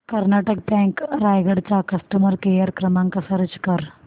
Karnataka bank Raigad चा customer care क्रमांक search कर